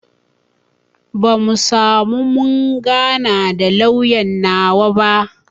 Bamu samu mun gana da lauyan nawa ba